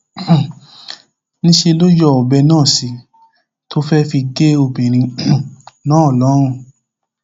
um níṣẹ ló sì yọ ọbẹ náà sí i tó fẹẹ fi gé obìnrin um náà lọrùn